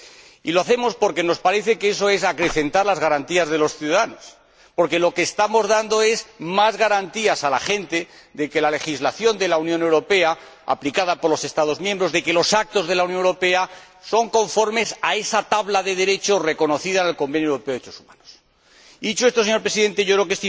Y lo hacemos porque nos parece que eso es acrecentar las garantías de los ciudadanos, porque lo que estamos dando es más garantías a la gente de que la legislación de la Unión Europea aplicada por los Estados miembros, de que los actos de la Unión Europea, son conformes a esa tabla de derechos reconocida en el Convenio Europeo para la Protección de los Derechos Humanos.